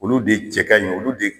Olu de cɛ ka ɲi olu de